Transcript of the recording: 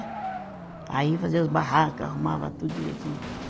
Aí fazia as barraca, arrumava tudo direitinho.